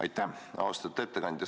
Aitäh, austatud ettekandja!